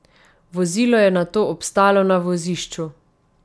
Vozilo je nato obstalo na vozišču.